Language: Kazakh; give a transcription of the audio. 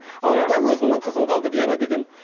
ауылда өзімнің қызым қалды вера деген